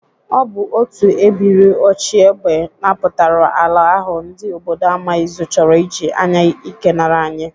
Ọ bụ otu ebiri ochiegbe napụtara ala ahụ ndị obodo Amaizụ chọrọ ị ji anya ike nara anyị.